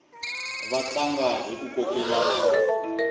va tlanga hiku kokelana